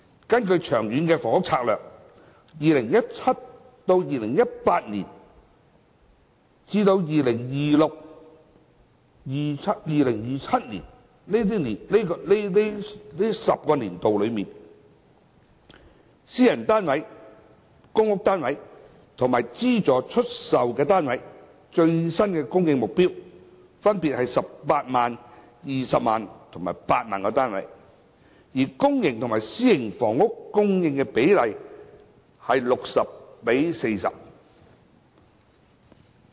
根據《長遠房屋策略》，2017-2018 年度至 2026-2027 年度這10年期的私人單位、公屋單位及資助出售單位的最新供應目標，分別為18萬、20萬和8萬個單位，而公營房屋和私營房屋的供應比例為 60：40。